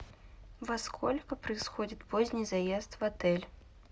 во сколько происходит поздний заезд в отель